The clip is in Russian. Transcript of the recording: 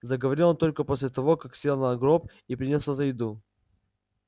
заговорил он только после того как сел на гроб и принялся за еду